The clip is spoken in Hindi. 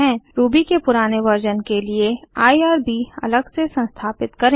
रूबी के पुराने वर्जन के लिए आईआरबी अलग से संस्थापित करें